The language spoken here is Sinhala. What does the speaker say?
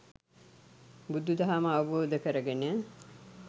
බුදු දහම අවබෝධ කරගෙන